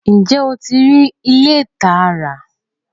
Ǹjẹ́ oti ri ilẹ̀ táa rà?